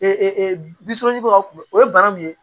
o ye bana min ye